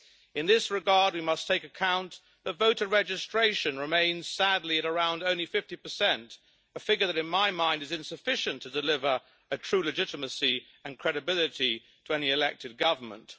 In this regard, we must take account of voter registration, which remains sadly at around only 50, a figure that in my mind is insufficient to deliver a true legitimacy and credibility to any elected government.